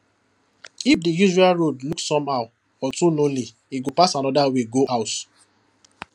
if the usual road look somehow or too lonely e go pass another way go house